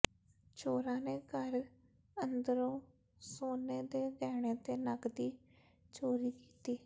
ਚੋਰਾਂ ਨੇ ਘਰ ਅੰਦਰੋਂ ਸੋਨੇ ਦੇ ਗਹਿਣੇ ਤੇ ਨਕਦੀ ਚੋਰੀ ਕੀਤੀ